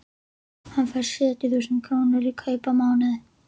Hann fær sjötíu þúsund krónur í kaup á mánuði.